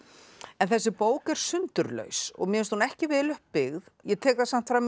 en þessi bók er sundurlaus og mér finnst hún ekki vel upp byggð ég tek það samt fram